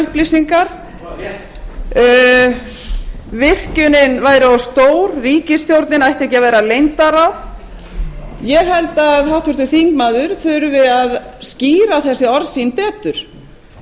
upplýsingar virkjunin væri of stór ríkisstjórnin ætti ekki að vera leyndarráð ég held að háttvirtur þingmaður þurfi að skýra þessi orð sín betur